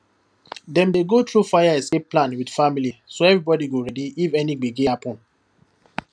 dem dey go through fire escape plan with family so everybody go ready if any gbege happen